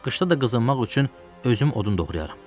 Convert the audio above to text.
Qışda da qızınmaq üçün özüm odun doğrayaram.